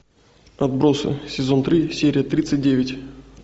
отбросы сезон три серия тридцать девять